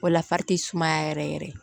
O la fari ti sumaya yɛrɛ yɛrɛ ye